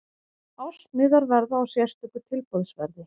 Ársmiðar verða á sérstöku tilboðsverði.